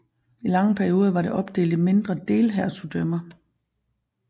I lange perioder var det opdelt i mindre delhertugdømmer